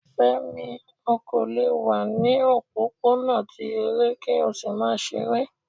Fẹ́mi, o kò lè wà ní o òpópónà ti eré ki o sì má sáré.